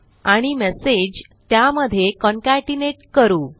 आणि मेसेज त्यामधे कॉन्केटनेट करू